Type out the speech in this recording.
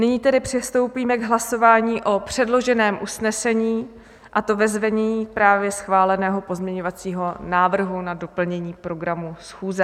Nyní tedy přistoupíme k hlasování o předloženém usnesení, a to ve znění právě schváleného pozměňovacího návrhu na doplnění programu schůze.